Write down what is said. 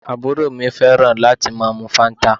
Àbúrò mi fẹ́ràn láti máa mu Fanta